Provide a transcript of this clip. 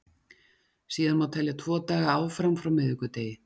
síðan má telja tvo daga áfram frá miðvikudegi